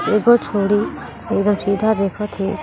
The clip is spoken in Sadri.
एगो छोडि एकदम सीधा देखत हे।